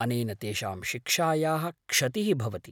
अनेन तेषां शिक्षायाः क्षतिः भवति।